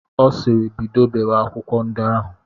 Ọ sịịrị, bido bewe akwụkwọ ndi ahụ!